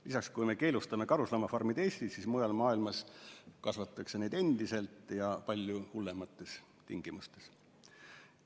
Lisaks, kui me keelustame karusloomafarmid Eestis, siis mujal maailmas kasvatatakse neid endiselt ja palju hullemates tingimustes.